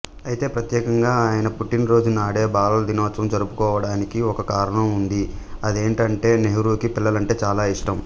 అయితే ప్రత్యేకంగా ఆయన పుట్టినరోజునాడే బాలల దినోత్సవం జరుపుకోవడానికి ఒక కారణం ఉంది అదేంటంటే నెహ్రూకి పిల్లలంటే చాలా ఇష్టం